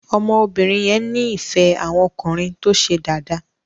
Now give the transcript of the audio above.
ọmọ obìrin yẹ ní ìfé àwon ọkùnrin tó ṣe Dàda.